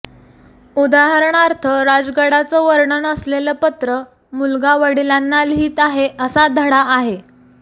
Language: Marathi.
उदाहरणार्थ राजगडाचं वर्णन असलेलं पत्र मुलगा वडिलांना लिहित आहे असा धडा आहे